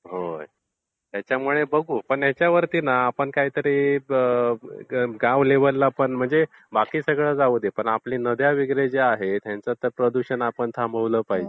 होय. त्याच्यामुळे बघू. ओण याच्यावरती न आपण काहीतरी गावलेवलला पण म्हणजे बाकी सगळं जाऊ दे. पण आपल्या नद्या वगैरे ज्या आहेत हयांच तर प्रदूषण आपण थांबवलं पाहिजे.